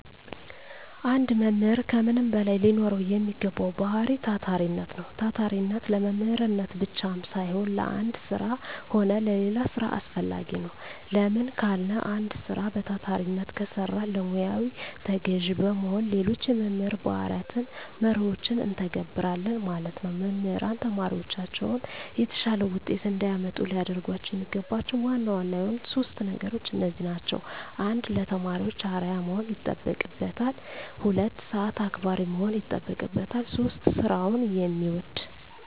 አንድ መምህር ከምንም በላይ ሊኖረዉ የሚገባዉ ባህሪይ ታታሪነት ነዉ። ታታሪነት ለመምህርነት ብቻም ሳይሆን ለአንድ ስራ ሆነ ለሌላ ስራ አስፈላጊ ነዉ። ለምን ካልን አንድ ስራ በታታሪነት ከሰራን ለሙያዉ ተገዢ በመሆን ሌሎች የመምህር ባህርያትንና መርሆችን እንተገብረለን ማለት ነዉ። መምህራን ተማሪዎቻቸውን የተሻለ ዉጤት እንዲያመጡ ሊያደርጓቸዉ የሚገባቸዉ ዋና ዋና የሆኑት 3 ነገሮች እነዚህ ናቸዉ። 1. ለተማሪዎች አርዕያ መሆን ይጠበቅበታል። 2. ሰአት አክባሪ መሆን ይጠበቅበታል። 3. ስራዉን የሚወድ።